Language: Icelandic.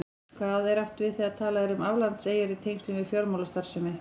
Hvað er átt við þegar talað er um aflandseyjar í tengslum við fjármálastarfsemi?